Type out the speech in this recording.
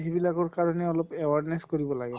সিবিলাকৰ কাৰণেও অলপ awareness কৰিব লাগে